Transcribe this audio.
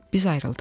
Biz ayrıldıq.